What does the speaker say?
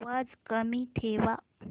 आवाज कमी ठेवा